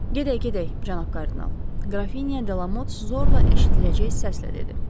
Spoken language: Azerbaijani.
Gedək, gedək, cənab kardinal, Qrafinya Delamot zorla eşidiləcək səslə dedi.